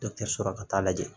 Dɔkitɛriso ka taa lajɛ